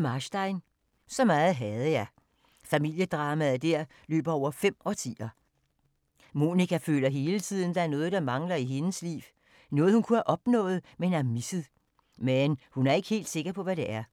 Marstein, Trude: Så meget havde jeg Familiedrama der løber over fem årtier. Monika føler hele tiden der er noget, der mangler i hendes liv. Noget hun kunne have opnået, men har misset. Men hun er ikke helt sikker på hvad det er.